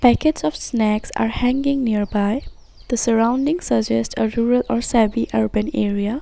Packets of snacks are hanging near by the surrounding suggest a rural or semi urban area.